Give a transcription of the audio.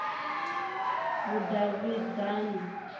vhudavhidzani